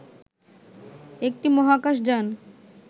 একটি মহাকাশ যান